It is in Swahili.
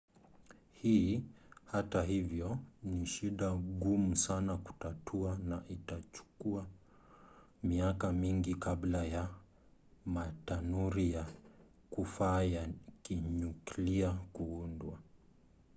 hii hata hivyo ni shida ngumu sana kutatua na itachukua miaka mingi kabla ya matanuri ya kufaa ya kinyuklia kuundwa